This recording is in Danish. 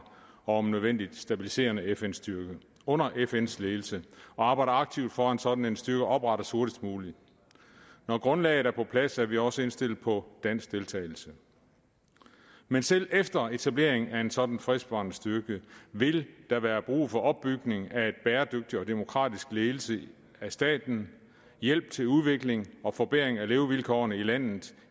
og om nødvendigt stabiliserende fn styrke under fns ledelse og arbejder aktivt for at sådan en styrke oprettes hurtigst muligt når grundlaget er på plads er vi også indstillet på dansk deltagelse men selv efter etablering af en sådan fredsbevarende styrke vil der være brug for opbygning af og demokratisk ledelse af staten hjælp til udvikling og forbedring af levevilkårene i landet